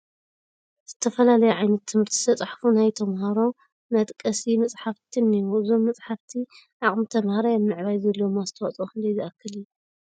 ብዝተፈላለየ ዓይነት ትምህርቲ ዝተፃሕፉ ናይ ተመሃሮ መጣቐሲ መፃሕፍቲ እኔዉ፡፡ እዞም መፃሕፍቲ ዓቕሚ ተመሃራይ ኣብ ምዕባይ ዘለዎም ኣስተዋፅኦ ክንደይ ዝኣክል እዩ?